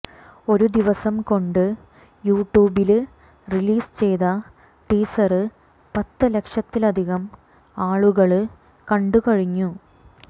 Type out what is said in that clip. ഒരു ദിവസംകൊണ്ട് യുട്യൂബില് റിലീസ് ചെയ്ത ടീസര് പത്ത്ലക്ഷത്തിലധികം ആളുകള് കണ്ടുകഴിഞ്ഞു